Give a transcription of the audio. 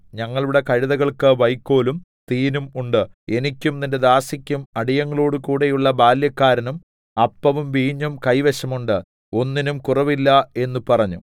ഞങ്ങളുടെ കഴുതകൾക്ക് വൈക്കോലും തീനും ഉണ്ട് എനിക്കും നിന്റെ ദാസിക്കും അടിയങ്ങളോടുകൂടെയുള്ള ബാല്യക്കാരനും അപ്പവും വീഞ്ഞും കൈവശം ഉണ്ട് ഒന്നിനും കുറവില്ല എന്ന് പറഞ്ഞു